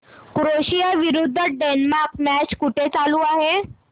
Croatia विरुद्ध Denmark match कुठे चालू आहे